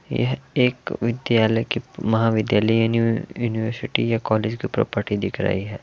यह एक विद्यालय की महाविद्यालय यानी यूनिवर्सिटी या कॉलेज की प्रॉपर्टी दिख रही है।